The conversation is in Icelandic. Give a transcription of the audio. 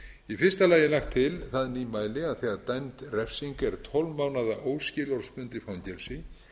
í fyrsta lagi er lagt til það nýmæli að þegar dæmd refsing er tólf mánaða óskilorðsbundið fangelsi